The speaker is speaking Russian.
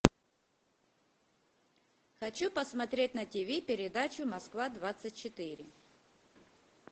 хочу посмотреть на тиви передачу москва двадцать четыре